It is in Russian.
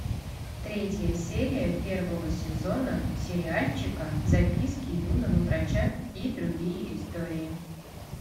третья серия первого сезона сериальчика записки юного врача и другие истории